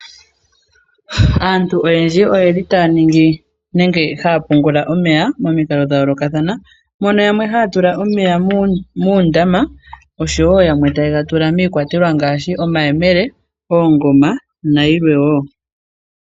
Aantu oyendji oye li taya ningi nenge haya pungula omeya momikalo dhayoolokathana. Mono yamwe haya tula omeya muundama oshowoo yamwe taye ga tula miikwatelwa ngaashi omayemele , oongoma nayilwe woo.